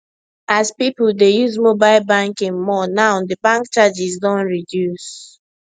as people dey use mobile banking more now di bank charges don reduce